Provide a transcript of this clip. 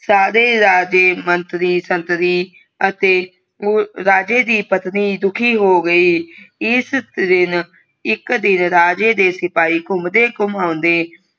ਸਾਰੇ ਰਾਜੇ ਮੰਤਰੀ ਸੰਤਰਿ ਅਤੇ ਓ ਰਾਜੇ ਦੀ ਪਤਨੀ ਦੁਖੀ ਹੋ ਗਈ ਇਸ ਦਿਨ ਇਕ ਦਿਨ ਰਾਜੇ ਦੇ ਸਿਪਾਹੀ ਘੁੰਮਦੇ ਘੁਮਾਉਂਦੇ